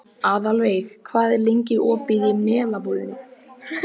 Aðalveig, hvað er lengi opið í Melabúðinni?